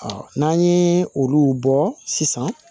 n'an ye olu bɔ sisan